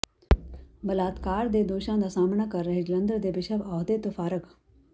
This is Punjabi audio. ਬਲਾਤਕਾਰ ਦੇ ਦੋਸ਼ਾਂ ਦਾ ਸਾਹਮਣਾ ਕਰ ਰਹੇ ਜਲੰਧਰ ਦੇ ਬਿਸ਼ਪ ਅਹੁਦੇ ਤੋਂ ਫਾਰਗ